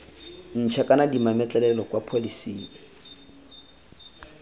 ntšha kana dimametlelelo kwa pholeseng